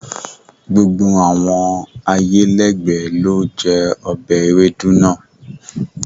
Gbogbo awọn ayélẹ̀gbẹ̀ lo jẹ obẹ̀ èwédú naa